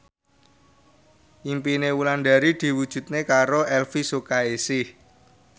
impine Wulandari diwujudke karo Elvy Sukaesih